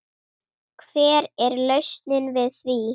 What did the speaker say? Hver er lausnin við því?